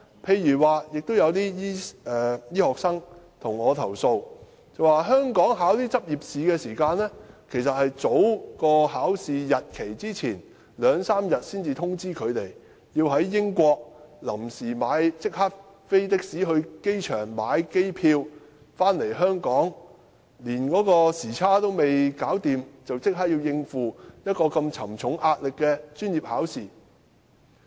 此外，有些醫科學生向我投訴，香港這些執業試的考試時間只會在考試前兩三天才通知他們，他們要在英國即時乘的士到機場購買機票返港，回港後連時差還未適應便立即要應付壓力如此沉重的專業考試。